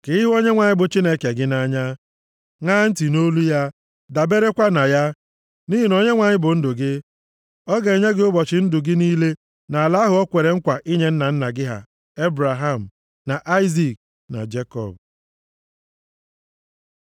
ka ị hụ Onyenwe anyị bụ Chineke gị nʼanya, ṅaa ntị nʼolu ya, daberekwa na ya. Nʼihi na Onyenwe anyị bụ ndụ gị, ọ ga-enye gị ụbọchị ndụ gị niile nʼala ahụ o kwere nkwa ị nye nna nna gị ha Ebraham, na Aịzik, na Jekọb.